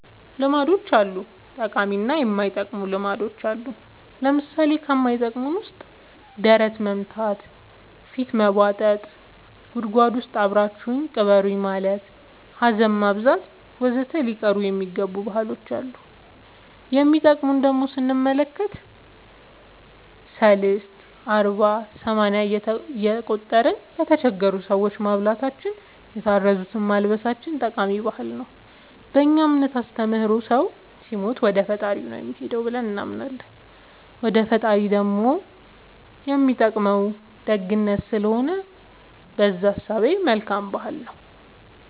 ልማዶች አሉ ጠቃሚ እና የማይጠቅሙ ልማዶች አሉን ለምሳሌ ከማይጠቅመን ውስጥ ደረት መምታ ፊት መቦጠጥ ጉድጎድ ውስጥ አብራችሁኝ ቅበሩኝ ማለት ሀዘን ማብዛት ወዘተ ሊቀሩ የሚገባ ባህሎች አሉ የሚጠቅሙን ደሞ ስንመለከት ሰልስት አርባ ሰማንያ እየቆጠርን ለተቸገሩ ሰዎች ማብላታችን የታረዙትን ማልበሳችን ጠቃሚ ባህል ነው በእኛ እምነት አስተምሮ ሰው ሲሞት ወደፈጣሪው ነው የሚሄደው ብለን እናምናለን ወደ ፈጣሪው ደሞ የሚጠቅመው ደግነት ስለሆነ በእዛ እሳቤ መልካም ባህል ነው